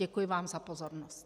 Děkuji vám za pozornost.